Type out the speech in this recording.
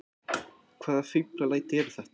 Hvaða fíflalæti eru þetta!